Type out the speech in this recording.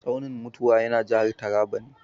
Tsaunin mutuwa yana jihar Taraba ne.